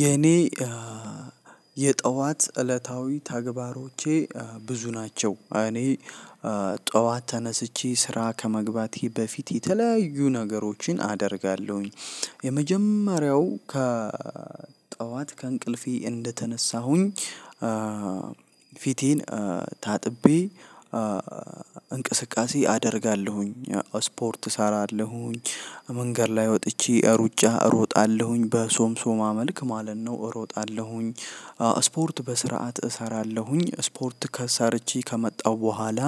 የኔ የጠዋት እለታዊ ተግባሮቼ ብዙ ናቸው። እኔ ጠዋት ተነስቼ ስራ ከመግባቴ በፊት የተለያዩ ነገሮችን አደርጋለሁኝ። የመጀመሪያው ከ ጠዋት ከእንቅልፌ እንደተነሳሁኝ። ፊቴን ታጥቤ። እንቅስቃሴ አደርጋለሁኝ ስፖርት እሰራለሁኝ። መንገድ ላይ ወጥቼ ሩጫ እሮጣለሁኝ በሶምሶ መልክ ማለት ነው እሮጣለሁኝ። ስፖርት በስርዓት እሰራለሁኝ ስፖርት ከሰርቼ ከመጣሁ በኋላ።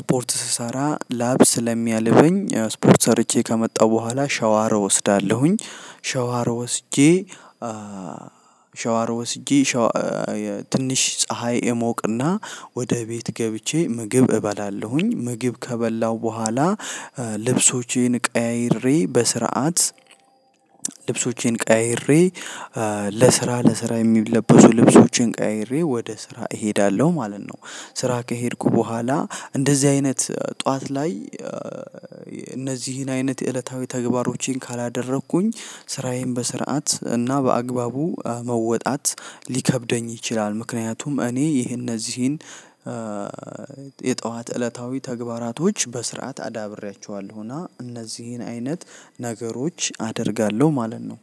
ስፖርት ስሰራ ላብ ስለሚያልበኝ ስፖርት ሰርቼ ከመጣሁ በኋላ ሻዋር እወስዳለሁኝ። ሻዋር ወስጄ። ሻዋር ወስጄ ሻዋ ትንሽ ፀሀይ እሞቅና ወደ ቤት ገብቼ ምግብ እበላለሁኝ። ምግብ ከበላሁ በኋላ። ልብሶቼን ቀያይሬ በስርዓት ልብሶቼን ቀያይሬ ለስራ ለስራ የሚለበሱ ልብሶቼን ቀያይሬ ወደ ስራ እሄዳለሁ ማለት ነው። ስራ ከሄድኩ በኋላ እንደዚህ አይነት ጠዋት ላይ። እነዚህን አይነት እለታዊ ተግባሮቼን ካላደረኩኝ ስራዬን በስርዓት እና በአግባቡ መወጣት ሊከብደኝ ይችላል። ምክንያቱም እኔ ይሄ እነዚህን የጠዋት እለታዊ ተግባራቶች በስርዓት አዳብሬያቸዋለሁና። እነዚህን አይነት ነገሮች አደርጋለሁ ማለት ነው።